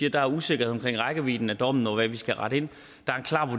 at der er usikkerhed omkring rækkevidden af dommen og om hvad vi skal rette ind